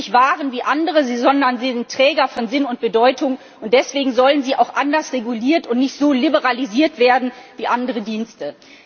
Sie sind nicht Waren wie andere, sondern sie sind Träger von Sinn und Bedeutung, und deswegen sollen sie auch anders reguliert und nicht so liberalisiert werden wie andere Dienste.